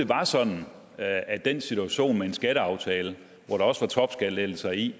var sådan at at den situation med en skatteaftale hvor der også var topskattelettelser i